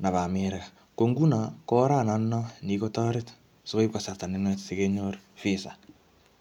nebo America. Ko nguno, ko orat notono ne kikotoret sikoip kasarta nenwach sikenyor visa